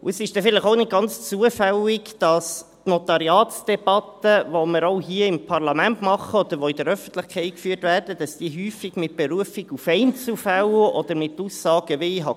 Es ist dann vielleicht auch nicht ganz zufällig, dass die Notariatsdebatte, die wir auch hier im Parlament führen, oder die in der Öffentlichkeit geführt wird, häufig unter Berufung auf Einzelfälle oder Aussagen geführt werden wie: